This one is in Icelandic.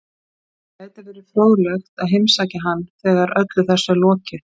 Það gæti verið fróðlegt að heimsækja hann þegar öllu þessu er lokið.